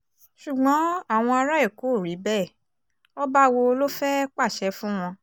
ṣùgbọ́n àwọn ará èkó ò rí bẹ́ẹ̀ ọba wo ló fẹ́ẹ́ pàṣẹ fún wọn